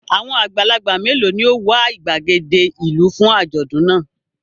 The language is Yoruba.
Àwọn àgbàgbà mélòó ni ó wà ìgbàgede ìlú fún àjọ̀dún náà?